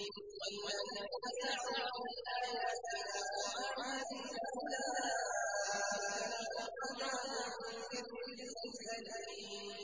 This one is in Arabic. وَالَّذِينَ سَعَوْا فِي آيَاتِنَا مُعَاجِزِينَ أُولَٰئِكَ لَهُمْ عَذَابٌ مِّن رِّجْزٍ أَلِيمٌ